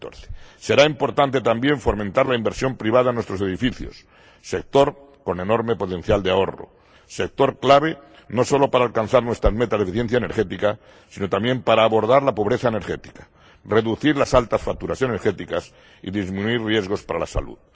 2014. Será importante también fomentar la inversión privada en nuestros edificios, sector con enorme potencial de ahorro, sector clave no solo para alcanzar nuestras metas de eficiencia energética, sino también para abordar la pobreza energética, reducir las altas facturaciones energéticas y disminuir los riesgos para la salud.